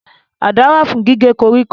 Àdá wà fún gígé koríko